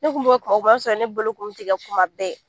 Ne kun bɛ yen kuma o kuma i b'a sɔrɔ ne bolo kun bɛ tigɛ kuma bɛɛ.